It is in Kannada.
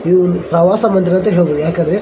ಇದು ಒಂದು ಪ್ರವಾಸಿ ಮಂದಿರ ಅಂತ ಹೇಳಬಹುದು. ಯಾಕಂದ್ರೆ --